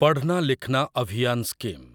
ପଢ଼ନା ଲିଖନା ଅଭିୟାନ ସ୍କିମ୍